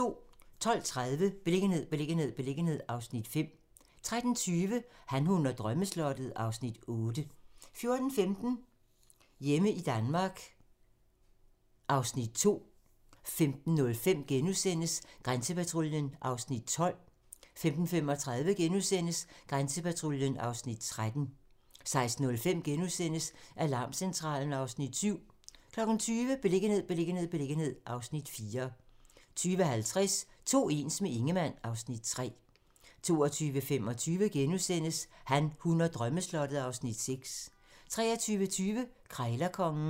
12:30: Beliggenhed, beliggenhed, beliggenhed (Afs. 5) 13:20: Han, hun og drømmeslottet (Afs. 8) 14:15: Hjemme i Danmark (Afs. 2) 15:05: Grænsepatruljen (Afs. 12)* 15:35: Grænsepatruljen (Afs. 13)* 16:05: Alarmcentralen (Afs. 7)* 20:00: Beliggenhed, beliggenhed, beliggenhed (Afs. 4) 20:50: To ens - med Ingemann (Afs. 3) 22:25: Han, hun og drømmeslottet (Afs. 6)* 23:20: Krejlerkongen